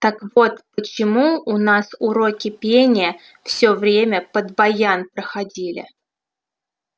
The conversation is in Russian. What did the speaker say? так вот почему у нас уроки пения всё время под баян проходили